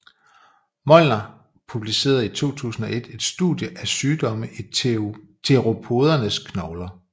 Molnar publicerede i 2001 et studie af sygdomme i theropodernes knogler